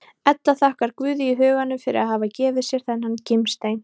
Edda þakkar Guði í huganum fyrir að hafa gefið sér þennan gimstein.